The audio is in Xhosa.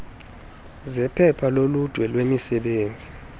zephepha loludwe lwemisebenzi